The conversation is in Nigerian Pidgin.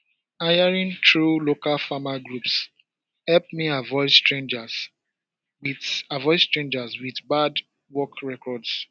hiring through local farmer groups help me avoid strangers with avoid strangers with bad work records